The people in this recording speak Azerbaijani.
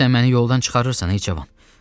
Sən məni yoldan çıxarırsan ey cavan.